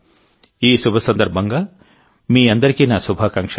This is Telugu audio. ఈ శుభ సందర్భంగా మీ అందరికీ నా శుభాకాంక్షలు